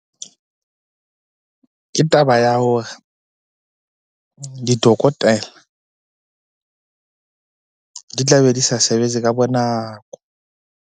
Ke taba ya hore di dotokotela di tla be di sa sebetse ka bonako.